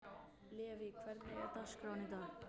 Levý, hvernig er dagskráin í dag?